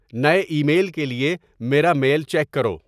نئے email کے لیے میرا میل چیک کرو